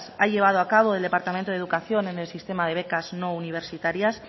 ha llevado a cabo el departamento de educación en el sistema de becas no universitarias